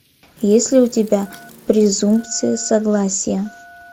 есть ли у тебя презумпция согласия